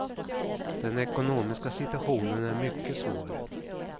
Den ekonomiska situationen är mycket svår.